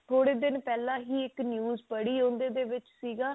ਥੋੜੇ ਦਿਨ ਪਹਿਲਾਂ ਹੀ ਇੱਕ news ਪੜੀ ਉਹਦੇ ਵਿੱਚ ਸੀਗਾ